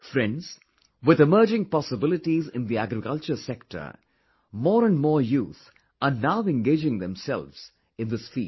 Friends, with emerging possibilities in the agriculture sector, more and more youth are now engaging themselves in this field